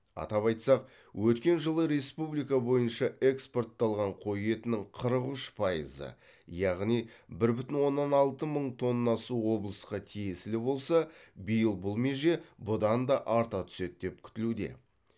атап айтсақ өткен жылы республика бойынша экспортталған қой етінің қырық үш пайызы яғни бір бүтін оннан алты мың тоннасы облысқа тиесілі болса биыл бұл меже бұдан да арта түседі деп күтілуде